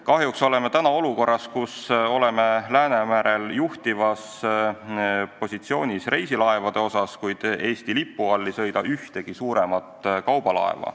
Kahjuks oleme praegu olukorras, kus me oleme Läänemerel juhtivas positsioonis reisilaevade osas, kuid Eesti lipu all ei sõida ühtegi suuremat kaubalaeva.